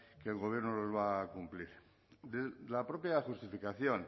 que el gobierno los va a cumplir de la propia justificación